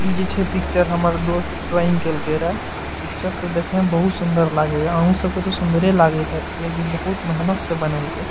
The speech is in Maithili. इ जे छै पिक्चर हमर दोस्त ड्राइंग केएल के रहल पिक्चर त देखे में बहुत सुंदर लागे अ उ सब के त सुंदरे लागतय कि बहुत मेहनत से बनल के।